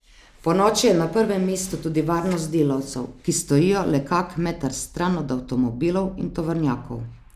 Ponoči je na prvem mestu tudi varnost delavcev, ki stojijo le kak meter stran od avtomobilov in tovornjakov.